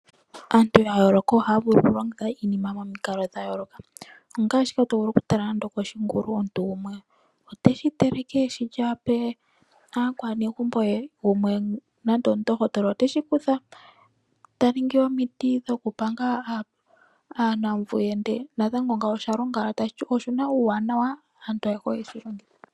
Aantu yayooloka ohaya vulu okulongitha iinima momikalo dhayooloka . Ongaashi tovulu okutala ngaashi koshingulu, omuntu gumwe oteshi teleke eshi lye ape aakwanegumbo ye. Gumwe nando omundohotola oteshi kutha eta ningi omiti dhokupanga aanuuvu ye, natango ngawo oshalonga. Tashi to oshina uuwanawa, aantu ayehe ohaye shi longitha.